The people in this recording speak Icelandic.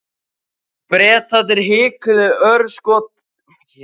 Bretarnir hikuðu örskotsstund, ákváðu síðan að hjóla ekki í hann.